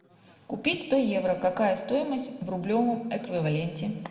купить сто евро какая стоимость в рублевом эквиваленте